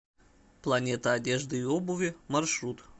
планета одежды и обуви маршрут